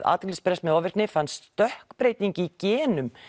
athyglisbresti með ofvirkni fannst stökkbreyting í genum